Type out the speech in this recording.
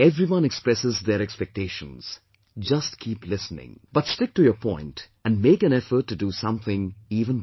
Everyone expresses their expectations; just keep listening, but stick to your point and make an effort to do something even better